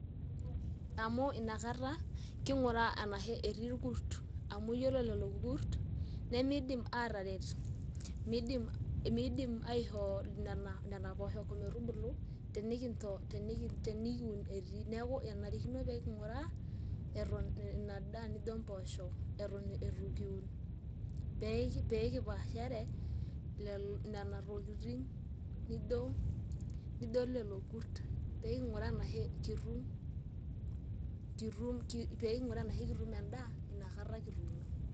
amu ina kata king'uraa enahe etii irkurt, amu ore lelo kurt, nemidim aataret, meidim aaishoo, nena pooshok metubulu, tenikiun etii. neeku enarikino pee ing'uraa, ina daa naijo mpoosho eton eitu kiun, pee kipaashare, nena tokitin, nijo lelo kurt, pee eking'uraa enahe kitum edaa.